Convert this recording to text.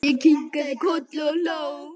Ég kinkaði kolli og hló.